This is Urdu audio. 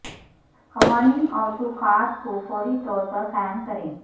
قوانین اور توقعات کو فوری طور پر قائم کریں